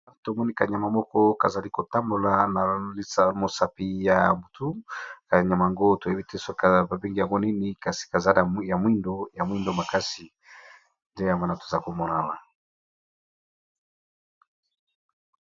Awa tomoni ka nyama moko kazali kotambola na mosapi ya ka nyama yango toyebi te soki ba bengi yango nini kasi kaza ya mwindo ya mwindo makasi nde ya mwana toza komona Awa.